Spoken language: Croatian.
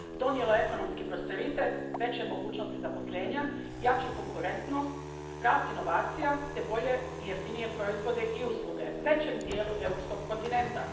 Donijelo je ekonomski prosperitet, veće mogućnosti zaposlenja, jaču konkurentnost, rast inovacija te bolje i jeftinije proizvode i usluge većem dijelu europskog kontinenta.